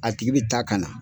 A tigi bi ta ka na